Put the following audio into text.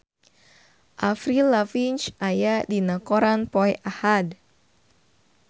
Avril Lavigne aya dina koran poe Ahad